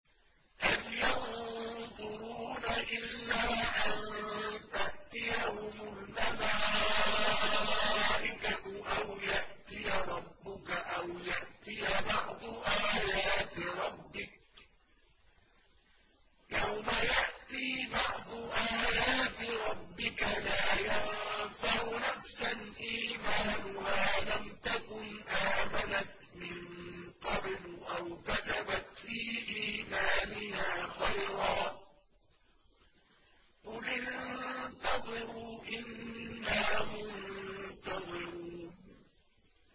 هَلْ يَنظُرُونَ إِلَّا أَن تَأْتِيَهُمُ الْمَلَائِكَةُ أَوْ يَأْتِيَ رَبُّكَ أَوْ يَأْتِيَ بَعْضُ آيَاتِ رَبِّكَ ۗ يَوْمَ يَأْتِي بَعْضُ آيَاتِ رَبِّكَ لَا يَنفَعُ نَفْسًا إِيمَانُهَا لَمْ تَكُنْ آمَنَتْ مِن قَبْلُ أَوْ كَسَبَتْ فِي إِيمَانِهَا خَيْرًا ۗ قُلِ انتَظِرُوا إِنَّا مُنتَظِرُونَ